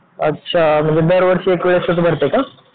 अच्छा म्हणजे दरवर्षी एकवेळेसच भरते का?